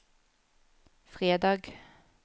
fredag